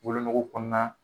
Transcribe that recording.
Wolonugu kɔnɔna